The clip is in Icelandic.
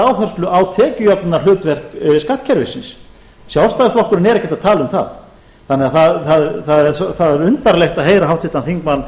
áherslu á tekjujöfnunarhlutverk skattkerfisins sjálfstæðisflokkurinn er ekkert að tala um það það er undarlegt að heyra háttvirtan þingmann